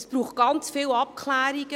Es braucht ganz viele Abklärungen.